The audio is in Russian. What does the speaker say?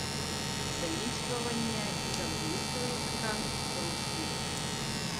заимствования из английского языка в русский